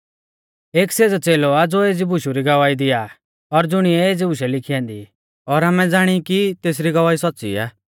एऊ सेज़ौ च़ेलौ आ ज़ो एज़ी बुशु री गवाही दिआ और ज़ुणिऐ एज़ी बुशै लिखी ऐन्दी ई और आमै ज़ाणी ई कि तेसरी गवाही सौच़्च़ी आ